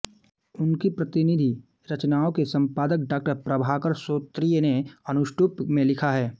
उनकी प्रतिनिधि रचनाओं के सम्पादक डॉ प्रभाकर श्रोत्रिय ने अनुष्टुप में लिखा हैं